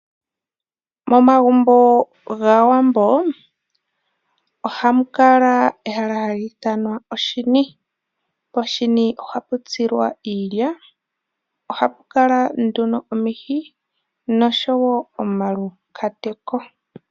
Momagumbo gaawambo ohamu kala ehala hali ithanwa oshini. Poshini ohapu tsilwa iilya. Ohapu kala nduno omihi noshowo omaluhwati.